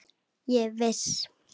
Ég er viss.